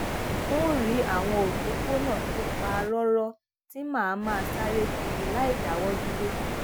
ń rí àwọn òpópónà tó pa róró tí màá máa sáré kiri láìdáwó dúró